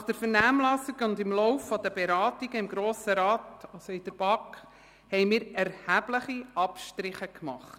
Nach der Vernehmlassung und im Verlauf der Beratungen in der BaK haben wir erhebliche Abstriche gemacht.